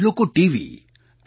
લોકો TV F